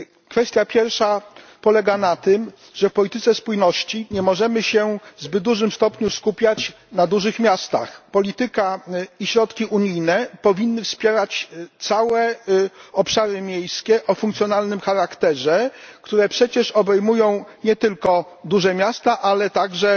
Kwestia pierwsza polega na tym, że w polityce spójności nie możemy się w zbyt dużym stopniu skupiać na dużych miastach. Polityka i środki unijne powinny wspierać całe obszary miejskie o funkcjonalnym charakterze, które przecież obejmują nie tylko duże miasta, ale także